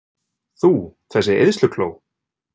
Þú, þessi eyðslukló!